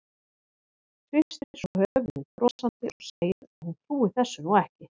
Hristir svo höfuðið brosandi og segir að hún trúi þessu nú ekki.